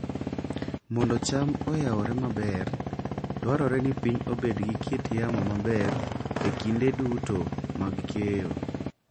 Mondo cham oyawre maber, dwarore ni piny obed gi kit yamo maber e kinde duto mag keyo.